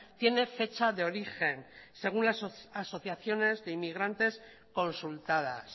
tiene fecha de origen según las asociaciones de inmigrantes consultadas